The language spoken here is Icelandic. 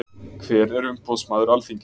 Hver er umboðsmaður Alþingis?